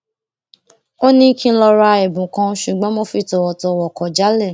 ó ní kí n lọ ra ẹbùn kan ṣùgbọn mo fi tòwòtòwò kò jálè